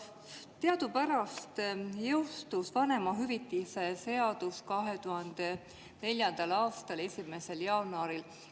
Teadupärast jõustus vanemahüvitise seadus 2004. aastal 1. jaanuaril.